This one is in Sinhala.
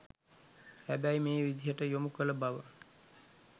හැබැයි මේ විදියට යොමු කළ බව